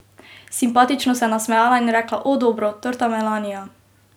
Simpatično se je nasmejala in rekla: 'O, dobro, torta Melanija ...